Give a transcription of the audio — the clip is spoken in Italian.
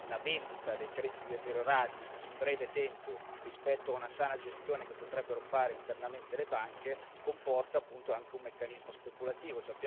la vendita dei crediti deteriorati, in breve tempo, rispetto a una sana gestione che potrebbero fare internamente le banche, comporta appunto anche un meccanismo speculativo.